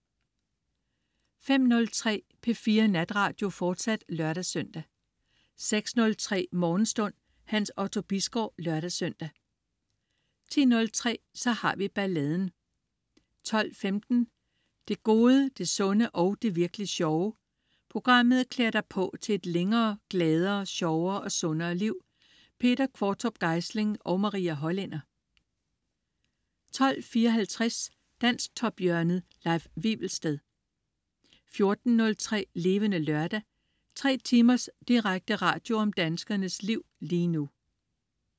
05.03 P4 Natradio, fortsat (lør-søn) 06.03 Morgenstund. Hans Otto Bisgaard (lør-søn) 10.03 Så har vi balladen 12.15 Det Gode, Det Sunde og Det Virk'lig Sjove. Programmet klæder dig på til et længere, gladere, sjovere og sundere liv. Peter Qvortrup Geisling og Maria Hollænder 12.54 Dansktophjørnet. Leif Wivelsted 14.03 Levende Lørdag. 3 timers direkte radio om danskernes liv lige nu